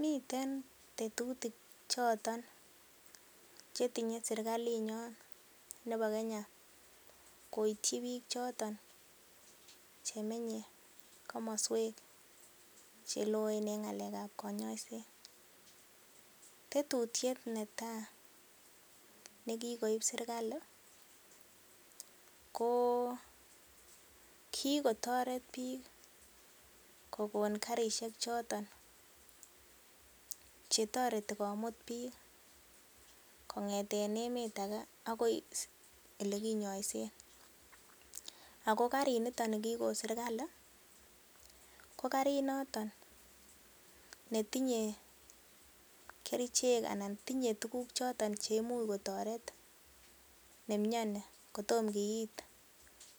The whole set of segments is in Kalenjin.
Miten tetutik choton che tinye sirkalinyon nebo Kenya koityi biik choton che menye komoswek che loen en ng'alekab konyoiset, tetutyet netai nekikoib serkalit ko; kigotoret biik kogonkarishek choton che toreti komut biik kong'eten emet age agoi ole kinyoisen. Ago karinito ni kigon serkalit kokarit noton netinye kerichek anan tinye tuguk choton cheimuch kotoret ne miani kotom kiit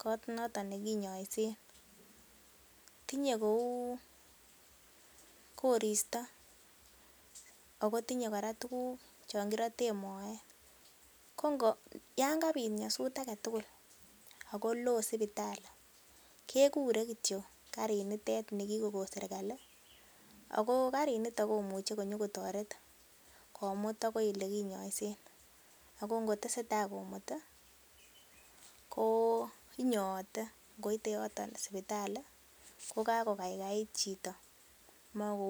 kot noton ne kinyoisen. Tinye kou koristo ago tinye kora tuguk chon kiroten moet. Yan kabit nyasut age tugul ago loo sipitalit kegure kityo karinitet ni kigokon serkalit ago karinito komuche konyokotoret komut agoi ole kinyoisen ago ngotesetai komuti ko inyoote ngoite yoton sipitali ko kagokaigait chito.